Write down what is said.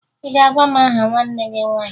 Ị ga-agwa m aha nwanne gị nwaanyị!